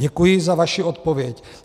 Děkuji za vaši odpověď.